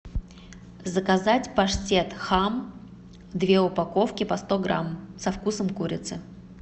заказать паштет хам две упаковки по сто грамм со вкусом курицы